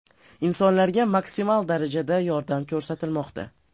Insonlarga maksimal darajada yordam ko‘rsatilmoqda.